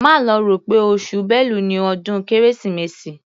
Má lọ rò pé oṣù Bélu ni ọdún Kérésìmesì.